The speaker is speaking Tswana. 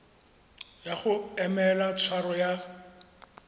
ya go emela tshwaro ya